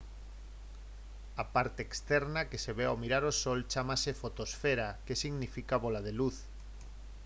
a parte externa que se ve ao mirar o sol chámase fotosfera que significa «bóla de luz»